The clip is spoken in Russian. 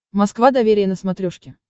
москва доверие на смотрешке